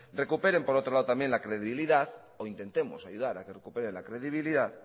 recuperen por otro lado la credibilidad o intentemos ayudar a que recuperen la credibilidad